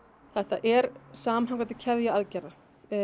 þetta er samhangandi keðja aðgerða